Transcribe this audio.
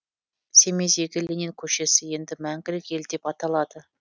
семейдегі ленин көшесі енді мәңгілік ел деп аталады